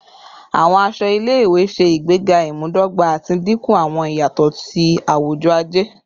Awọn aṣọ ile-iwe ṣe igbega imudogba ati dinku awọn iyatọ ti awujọ-aje